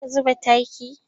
Za ka zuba takin?